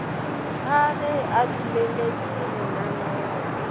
ga ge a dumeletše lananeo